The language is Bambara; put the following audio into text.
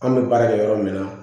An bɛ baara kɛ yɔrɔ min na